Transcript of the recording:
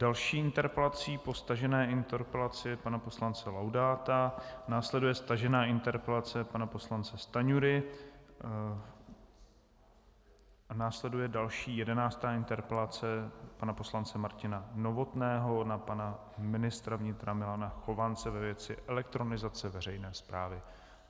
Další interpelací po stažené interpelaci pana poslance Laudáta následuje stažená interpelace pana poslance Stanjury a následuje další, jedenáctá, interpelace pana poslance Martina Novotného na pana ministra vnitra Milana Chovance ve věci elektronizace veřejné správy.